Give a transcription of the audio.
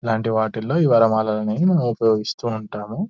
ఇలాటి వాటిలో ఈ వనమలాలని మనము ఉపయోగిస్తూ ఉంటాము